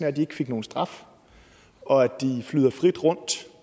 at de ikke fik nogen straf og at de flyder frit rundt